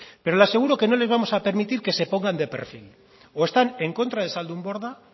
pero le aseguro que no les vamos a permitir que se pongan de perfil o están en contra de zaldunborda